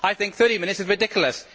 I think 30 minutes is ridiculous.